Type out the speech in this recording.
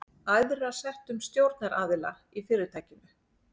æðra settum stjórnaraðila í fyrirtækinu.